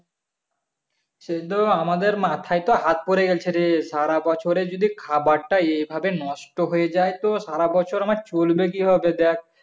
সে তো আমাদের মাথায় তো হাত পরে গেছে রে সারাবছরের যদি খাবার টা এভাবে নষ্ট হয়ে যায় তো সারাবছর আমার চলবে কি করে দেখ